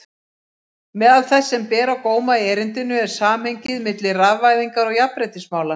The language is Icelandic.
Meðal þess sem ber á góma í erindinu er samhengið milli rafvæðingar og jafnréttismála.